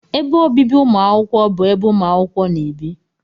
Ébé obibi umuakwukwo bụ ebe umuakwukwo na-ebi